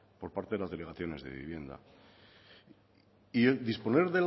por parte de las delegaciones de vivienda y disponer